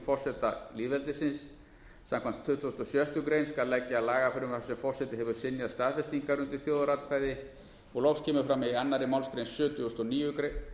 forseta lýðveldisins samkvæmt tuttugustu og sjöttu grein skal leggja lagafrumvarp sem forseti hefur synjað staðfestingar undir þjóðaratkvæði og loks kemur fram í annarri málsgrein sjötugustu